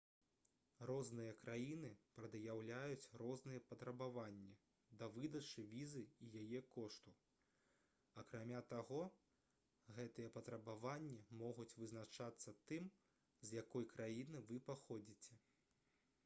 розныя краіны прад'яўляюць розныя патрабаванні да выдачы візы і яе кошту акрамя таго гэтыя патрабаванні могуць вызначацца тым з якой краіны вы паходзіце